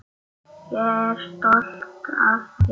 Ég er stolt af þér.